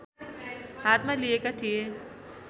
हातमा लिएका थिए